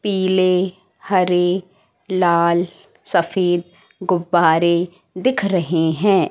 पीले हरे लाल सफेद गुब्बारे दिख रहे हैं।